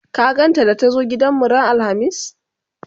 ka gan ta da ta zo gidanmu ran alhamis?